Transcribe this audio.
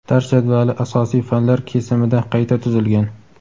dars jadvali asosiy fanlar kesimida qayta tuzilgan.